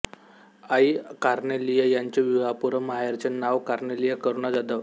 आई Cornelia यांचे विवाहपूर्व माहेरचे नाव कार्नेलिया करुणा जाधव